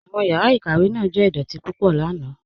Awọn yàrá ikàwé náà jẹ̀ idọ̀tì púpọ̀ lànà.